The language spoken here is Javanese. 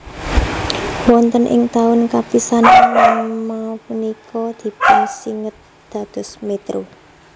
Wonten ing taun kapisanan nama punika dipunsinged dados Métro